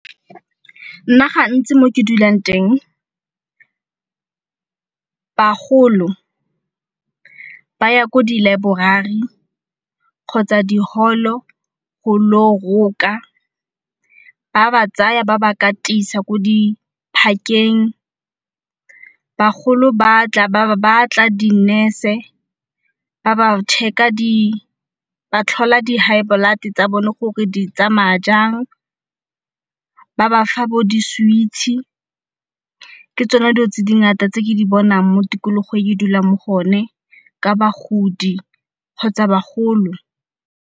Nna gantsi mo ke dulang teng bagolo ba ya ko di laeborari kgotsa di holo go lo roka, ba ba tsaya ba ba katisa ko diphakeng. Bagolo batla, di-nurse-e ba ba check-a ba tlhola di high blood tsa bone gore di tsamaya jang. Ba bafa bo di-sweets, ke tsone dilo tse dingata tse ke di bonang mo tikologong e ke dulang mo go yone ka bagodi kgotsa bagolo.